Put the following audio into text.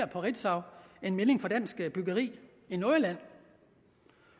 på ritzau fra dansk byggeri i nordjylland